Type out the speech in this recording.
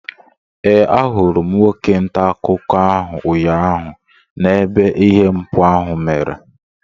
Ee, ahụrụ m nwoke ntaakụkọ ahụ ụnyaahụ n'ebe ihe mpụ ahụ mere